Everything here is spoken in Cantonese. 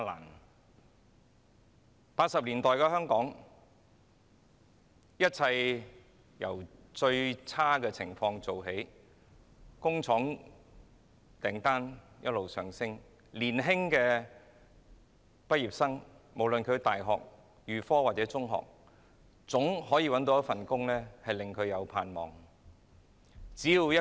1980年代的香港，一切由最差的情況做起，工廠訂單一直上升，無論是在大學、預科或中學畢業的年青人，皆總可以找到一份令他們有盼望的工作。